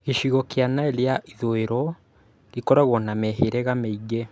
Gĩcigo kĩa Nile ya ithũĩro gĩkoragwo na mĩhĩrĩga mĩingĩ